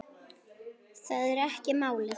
Það er ekki málið.